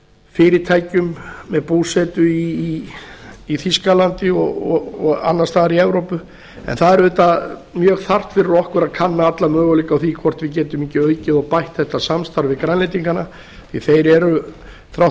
fyrirtækjum með búsetu í þýskalandi og annars staðar í evrópu en það er auðvitað mjög þarft fyrir okkur að kanna alla möguleika á því hvort við getum ekki aukið og bætt þetta samstarf við grænlendingana því að þeir eru þrátt